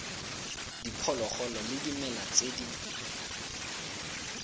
diphologolo le dimela tse di